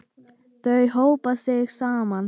Þau hópa sig saman.